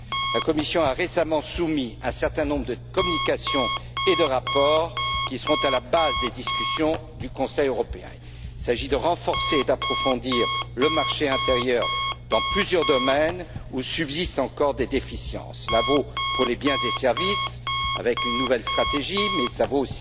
La Commission a récemment soumis un certain nombre de communications et de rapports qui seront à la base des discussions du Conseil européen. Il s'agit de renforcer et d'approfondir le marché intérieur dans plusieurs domaines où subsistent encore des déficiences. Cela vaut pour les biens et services, avec une nouvelle stratégie, mais cela